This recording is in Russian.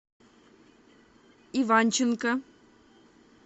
иванченко